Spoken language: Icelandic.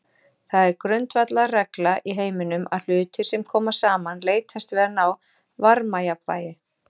Það er grundvallarregla í heiminum að hlutir sem koma saman leitast við að ná varmajafnvægi.